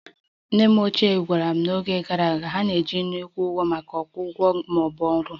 Nne m ochie gwara anyị na n'oge gara aga, ha na-eji nnu akwụ ụgwọ maka ngwongwo ma ọ bụ ọrụ